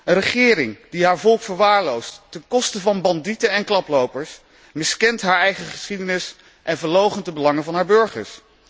Een regering die haar volk verwaarloost ten koste van bandieten en klaplopers, miskent haar eigen geschiedenis en verloochent de belangen van haar burgers.